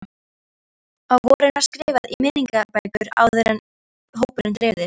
Á vorin var skrifað í minningabækur áður en hópurinn dreifðist.